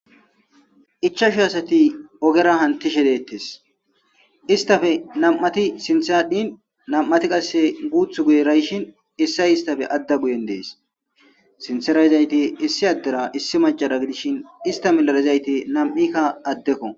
Ichashu asati oggera hanishshe dettes issitappe nam'ati sinththe adhin nam'ati qasse guththu guyera yishshin issay isstappe aada guyen dess sinththera yizayti issi addera issi maccara giddishin issta miyera yizzayti namikka addekko.